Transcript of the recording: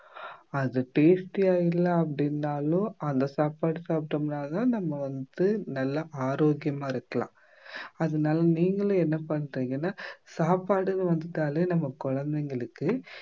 அது tasty யா இல்ல அப்படின்னாலோ அந்த சாப்பாடு சாப்பிட்டோம்னாதான் நம்ம வந்து நல்ல ஆரோக்கியமா இருக்கலாம் அதனால நீங்களும் என்ன பண்றீங்கன்னா சாப்பாடுன்னு வந்துட்டாலே நம்ம குழந்தைங்களுக்கு